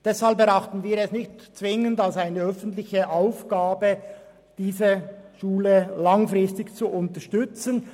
Deshalb erachten wir es nicht zwingend als eine öffentliche Aufgabe, diese Schule langfristig zu unterstützen.